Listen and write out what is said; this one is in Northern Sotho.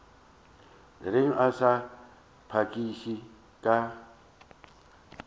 reng a sa phakiše ka